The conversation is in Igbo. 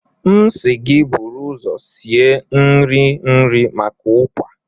M si gi buru uzo sie nri nri maka Ukwa.